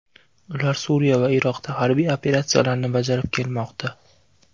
Ular Suriya va Iroqda harbiy operatsiyalarni bajarib kelmoqda.